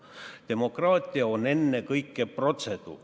Demokraatia on ennekõike protseduur.